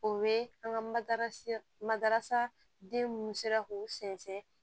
O ye an ka mada madarasa den munnu sera k'u sɛnsɛn